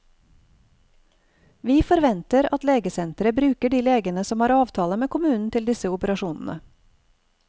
Vi forventer at legesenteret bruker de legene som har avtale med kommunen til disse operasjonene.